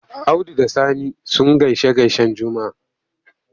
Audu da Sani sun gaishe-gaishen Juma'a.